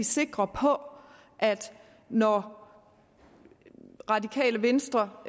sikre på at når radikale venstre